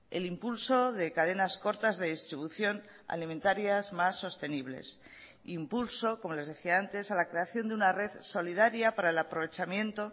el impulso de cadenas cortas de distribución alimentarias más sostenibles impulso como les decía antes a la creación de una red solidaria para el aprovechamiento